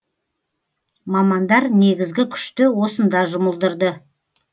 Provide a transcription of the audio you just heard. мамандар негізгі күшті осында жұмылдырды